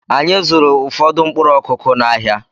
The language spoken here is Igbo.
Anyị zụụrụ ụfọdụ mkpụrụ Ọkụ́kụ́ n'ahia.